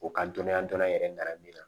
O ka dɔnniya dɔ yɛrɛ mara min na